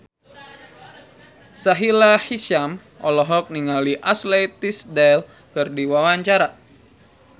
Sahila Hisyam olohok ningali Ashley Tisdale keur diwawancara